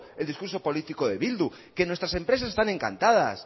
el discurso político de bildu que nuestras empresas están encantadas